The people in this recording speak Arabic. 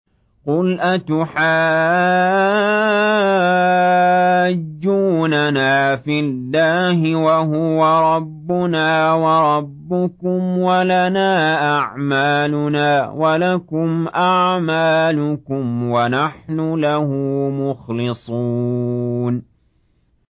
قُلْ أَتُحَاجُّونَنَا فِي اللَّهِ وَهُوَ رَبُّنَا وَرَبُّكُمْ وَلَنَا أَعْمَالُنَا وَلَكُمْ أَعْمَالُكُمْ وَنَحْنُ لَهُ مُخْلِصُونَ